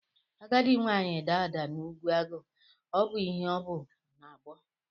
Agadi nwaanyị daa ada n'ugwu agụ ọ ihe o bu n'abọ